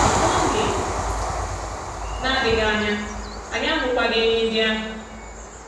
N’oge na-adịghị anya, anyị ahụkwaghị enyí ndị ahụ.